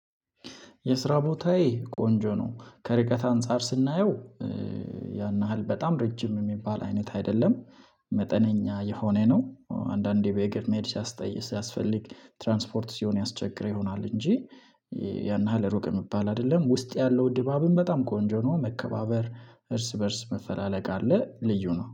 የስራ ቦታዬ ቆንጆ ነው ከርቀት አንፃር ስናየው ያን ያህል በጣም ረጅም የሚባል አይነት አይደለም። መጠነኛ የሆነ ነው አንዳንዴ በእግር መሄድ ሲያስጠይቅ ሲያስፈልግ ትራንስፖርት ሲሆን ያስቸግር ይሆናል። እንጂ ያን ያህል ሩቅ የሚባል አይደለም ውስጥ ያለው ድባብም በጣም ቆንጆ ነው። መከባበር እርስ በእርስ መፈላለግ አለ። ልዩ ነው